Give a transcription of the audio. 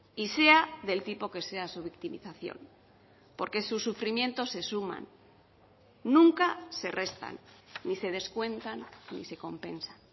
y sea del tipo que sea su victimización porque sus sufrimientos se suman nunca se restan ni se descuentan ni se compensa